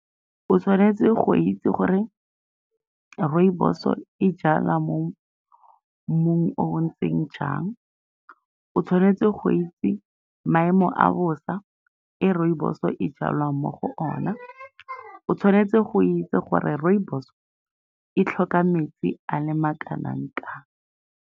O tshwanetse go itse gore rooibos-o e jalwa mo mmung o o ntseng jang. O tshwanetse go itse maemo a bosa e rooibos-o e jalwang mo go ona. O tshwanetse go itse gore rooibos-o e tlhoka metsi a le makanang-kang.